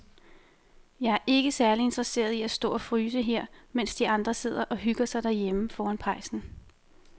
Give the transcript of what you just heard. Jeg er ikke særlig interesseret i at stå og fryse her, mens de andre sidder og hygger sig derhjemme foran pejsen.